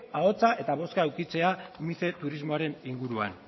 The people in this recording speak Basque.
ahotsa eta bozka edukitzea mice turismoaren inguruan